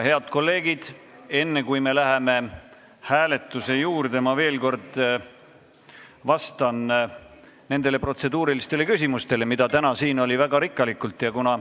Head kolleegid, enne kui me läheme hääletuse juurde, ma veel kord vastan nendele protseduurilistele küsimustele, mida täna esitati väga rikkalikult.